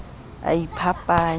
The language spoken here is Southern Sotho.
o a iphapanya o re